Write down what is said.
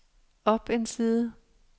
op en side